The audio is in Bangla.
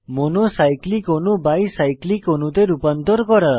মনো সাইক্লিক অণু বাই সাইক্লিক অণুতে রূপান্তর করা